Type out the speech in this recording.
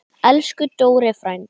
Elsku Dóri frændi.